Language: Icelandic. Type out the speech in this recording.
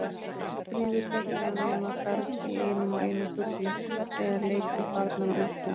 Ekkert rýfur þögnina nema garg í einum og einum fugli eða leikur barnanna úti á